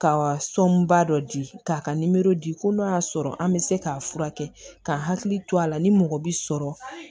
Ka sɔnba dɔ di k'a ka di ko n'o y'a sɔrɔ an bɛ se k'a furakɛ ka hakili to a la ni mɔgɔ bi sɔrɔ